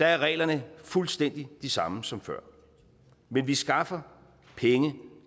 er reglerne fuldstændig de samme som før men vi skaffer penge